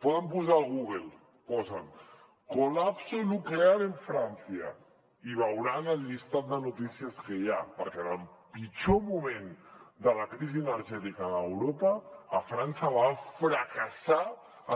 poden posar al google colapso nuclear en francia i veuran el llistat de notícies que hi ha perquè en el pitjor moment de la crisi energètica a europa a frança va fracassar